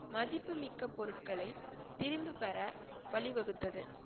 மதிப்புமிக்க பொருட்ககளை திரும்பிப் பெற வழிவகுத்தது